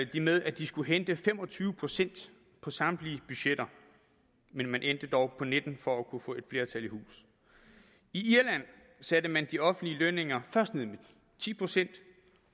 de med at de skulle hente fem og tyve procent på samtlige budgetter men man endte dog på nitten procent for at kunne få et flertal i hus i irland satte man de offentlige lønninger først med ti procent